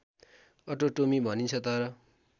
अटोटोमी भनिन्छ तर